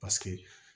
Paseke